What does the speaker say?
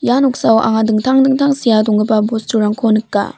ia noksao anga dingtang dingtang sea donggipa bosturangko nika.